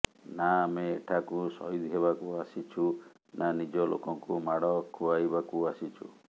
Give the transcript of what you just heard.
ନା ଆମେ ଏଠାକୁ ସହିଦ ହେବାକୁ ଆସିଛୁ ନା ନିଜ ଲୋକଙ୍କୁ ମାଡ ଖୁଆଇବାକୁ ଆସିଛୁ